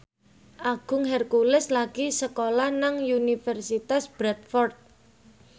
Agung Hercules lagi sekolah nang Universitas Bradford